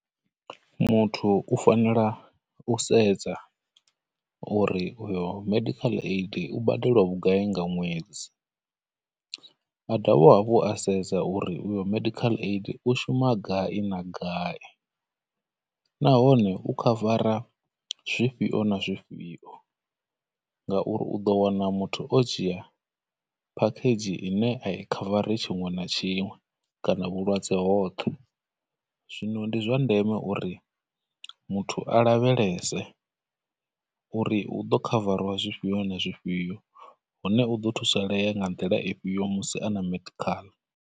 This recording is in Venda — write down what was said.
Muthu u fanela u sedza uri uyo medical aidu badela vhugai nga ṅwedzi, a dovha hafhu a sedza uri uyo medial aid u shuma gai na gai, nahone u medical aid zwifhio na zwifhio, ngauri u ḓo wana muthu o dzhia medical aid ine a i medical aid tshiṅwe na tshiṅwe, kana vhulwadze hoṱhe, zwino ndi zwa ndeme uri muthu a lavhelese uri hu ḓo medical aid zwifhio na zwifhio, hone u ḓo thusalea nga nḓila ifhio musi a na medical aid.